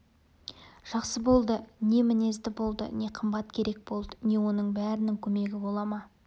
жақсы болды не мінезді болды не қымбат керек болды не оның бәрінің көмегі бола ма